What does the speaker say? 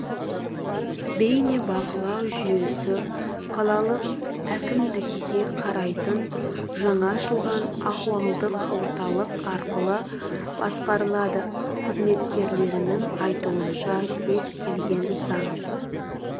бейнебақылау жүйесі қалалық әкімдікке қарайтын жаңа ашылған ахуалдық орталық арқылы басқарылады қызметкерлерінің айтуынша кез келген заң